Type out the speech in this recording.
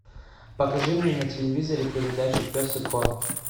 покажи мне на телевизоре передачу пес и ко